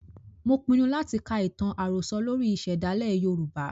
Mo pinu láti ka ìtàn àròsọ lórí ìsèdálè Yorùbá.